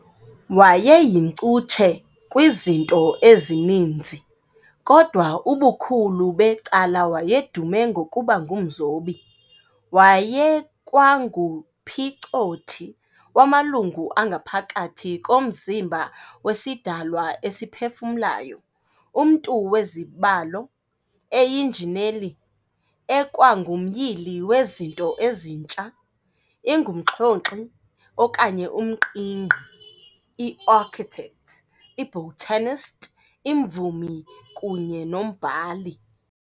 Wayeyincutshe kwizinto ezininzi, kodwa ubukhulu becala wayedume ngokuba ngumzobi. wayekwanguphicothi wamalungu angaphakathi komzimba wesidalwa esiphefumlayo, umntu wezibalo, eyinjineli, ekwangumyili wezinto ezintsha, ingumxhonkxi okanye umqingqi, iarchitect, ibotanist, imvumi kunye nombhali.